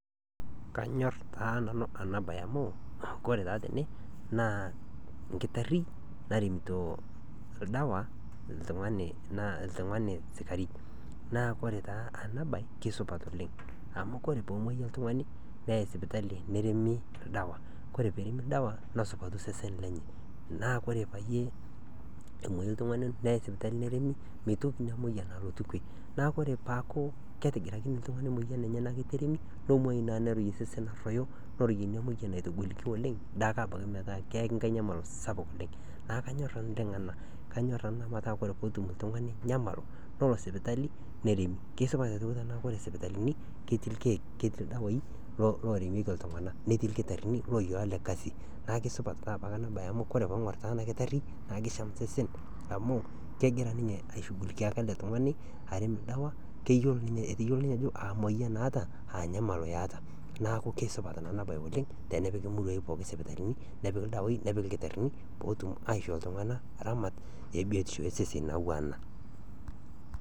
Kanyorr taa nanu ena baye amu kore taa tene naa enkitarri naremito oldawa oltung'ani naa oltung'ani sikari naa ore taa ena baye kesupat oleng' amu ore pee emuoyu oltung'ani naa keyai sipitali neremi oldawa nesupatu osesen lenye naa ore peyie emuoyu oltung'ani neyai sipitali neremi, mitoki ina moyian alotu pii neeku ore pee eeku ketigirakine oltung'ani emoyian enye neeku itu eremi nemuoyu naa nitoki osesen arruoyo nitoki ina moyian aitagoliki oleng' naa ake abaiki metaa keyaki enkai nyamal sapuk oleng' naa kanyorr nanu kanyorr ena metaa kore enetum oltung'ani nyamal yawa sipitali neremi, kesipa aitoki tanakata ore sipitalini ketii irkeek, ketii ildawai loremieki iltung'anak irkitarrini looyiolo ele kasi neeku supat enabaye amu ore tenaing'orr nanu ena kitarri naa keng'en amu egira ninye aishughukikia ele tung'ani arem oldawa keyiolo ninye ajo emoyian naata aa nyamalo eeta neeku kesupat ena oleng' tenepiki imuruai pooki isipitalini nepiki ildawai nepiki ilkitarrini ootum aishoo iltung'anak ramat ebiotisho osesen oyauwa ena.